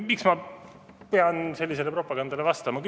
Miks ma pean sellisele propagandale vastama?